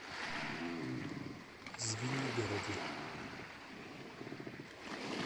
звенигороде